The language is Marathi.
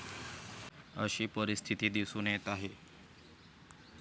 अशी परिस्थिती दिसून येत आहे.